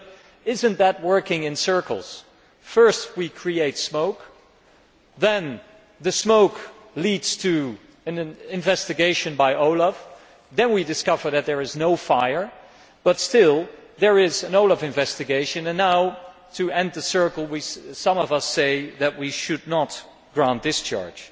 But is that not going round in circles? First we create smoke, then the smoke leads to an investigation by OLAF, then we discover that there is no fire, but still there is an OLAF investigation, and now to complete the circle some of us say that we should not grant discharge.